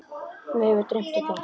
Mig hefur dreymt þetta.